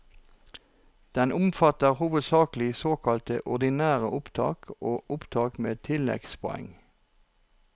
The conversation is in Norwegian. Den omfatter hovedsakelig såkalte ordinære opptak og opptak med tilleggspoeng.